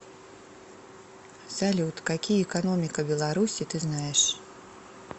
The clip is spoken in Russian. салют какие экономика беларуси ты знаешь